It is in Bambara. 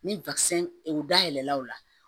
Ni e da yɛlɛla o la